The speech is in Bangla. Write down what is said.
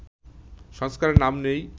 সংস্কারের নাম নেই